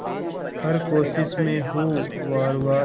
हर कोशिश में हो वार वार